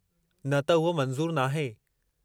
न त उहो मंज़ूरु नाहे।